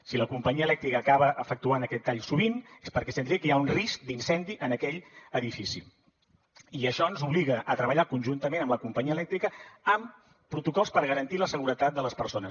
si la companyia elèctrica acaba efectuant aquest tall sovint és perquè estem dient que hi ha un risc d’incendi en aquell edifici i això ens obliga a treballar conjuntament amb la companyia elèctrica amb protocols per garantir la seguretat de les persones